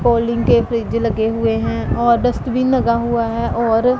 calling के fridge लगे हुए हैं और डस्टबिन लगा हुआ है और--